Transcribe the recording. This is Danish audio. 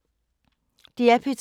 DR P2